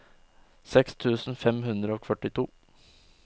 seks tusen fem hundre og førtito